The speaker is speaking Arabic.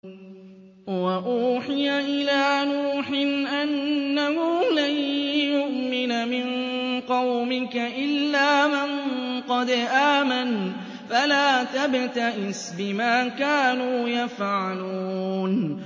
وَأُوحِيَ إِلَىٰ نُوحٍ أَنَّهُ لَن يُؤْمِنَ مِن قَوْمِكَ إِلَّا مَن قَدْ آمَنَ فَلَا تَبْتَئِسْ بِمَا كَانُوا يَفْعَلُونَ